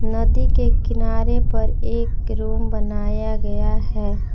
नदी के किनारे पर एक रूम बनाया गया है।